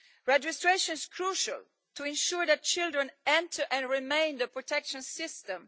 Registration is crucial to ensure that children enter and remain in the protection system.